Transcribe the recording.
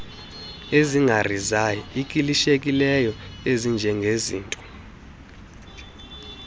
ezingarisay ikilishekiyo ezinjengezinto